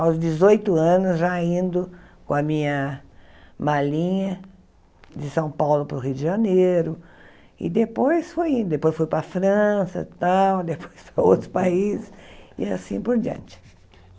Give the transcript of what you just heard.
aos dezoito anos já indo com a minha malinha de São Paulo para o Rio de Janeiro e depois fui indo, depois fui para a França tal, depois para outros países e assim por diante.